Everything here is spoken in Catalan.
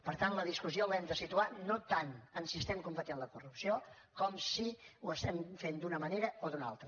per tant la discussió l’hem de situar no tant en si estem combatent la corrupció com si ho estem fent d’una manera o d’una altra